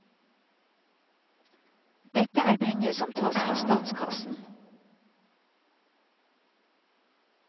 Dette er penger som tas fra statskassen.